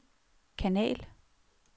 kanal